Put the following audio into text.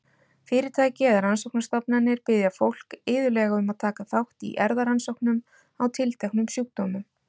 Fyrirtæki eða rannsóknastofnanir biðja fólk iðulega um að taka þátt í erfðarannsóknum á tilteknum sjúkdómum.